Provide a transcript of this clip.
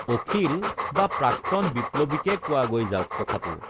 অখিল বা প্ৰাক্তন বিপ্লৱীকে কোৱাগৈ যাওক কথাটো